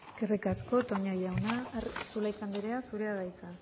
eskerrik asko toña jauna zulaika andrea zurea da hitza